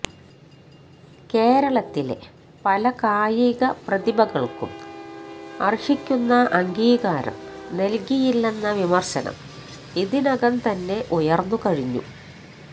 കേരളത്തിലെ പല കായിക പ്രതിഭകൾക്കും അർഹിക്കുന്ന അംഗീകാരം നൽകിയില്ലെന്ന വിമർശനം ഇതിനകംതന്നെ ഉയർന്നുകഴിഞ്ഞു